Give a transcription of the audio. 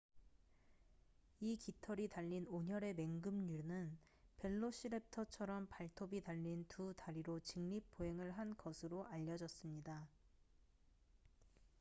이 깃털이 달린 온혈의 맹금류는 벨로시랩터처럼 발톱이 달린 두 다리로 직립 보행을 한 것으로 알려졌습니다